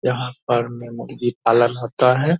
यहाँ पर में मुर्गी पालन होता है।